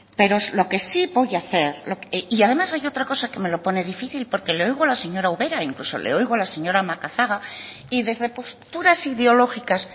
pero lo que sí voy a hacer y además hay otra cosa que me lo pone difícil porque le oigo a la señora ubera e incluso le oigo a la señora macazaga y desde posturas ideológicas